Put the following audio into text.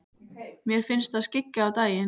Mér finnst það skyggja á daginn.